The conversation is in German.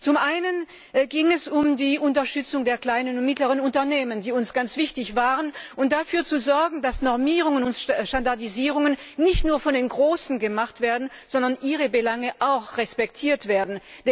Zum einen ging es um die Unterstützung der kleinen und mittleren Unternehmen, die uns ganz wichtig war, und darum, dafür zu sorgen, dass Normierungen und Standardisierungen nicht nur von den Großen gemacht werden, sondern auch die Belange der KMU respektiert werden.